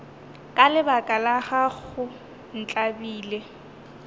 ka lebaka la gago ntlabile